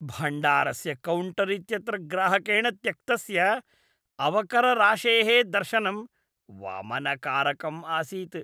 भण्डारस्य कौण्टर् इत्यत्र ग्राहकेण त्यक्तस्य अवकरराशेः दर्शनं वमनकारकम् आसीत्।